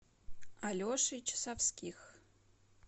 алешей часовских